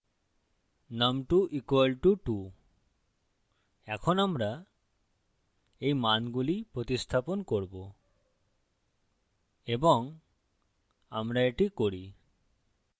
num2 = 2 এখন আমরা এই মানগুলি প্রতিস্থাপন করবো এবং আমরা এটি করি